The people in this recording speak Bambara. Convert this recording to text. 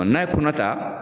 n'a ye kɔnɔta